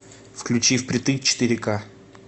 включи впритык четыре к